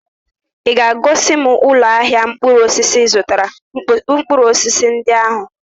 Ị ga-egosi m ụlọ ahịa mkpụrụ osisi ị zụtara mkpụrụ osisi ndị ahụ?